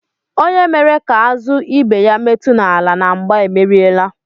Onye mere ka azụ ibe ya metu n'ala na mgbà emeriela.